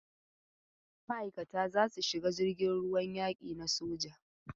Ma'aikata za su shiga jirgin ruwan yaki na soja.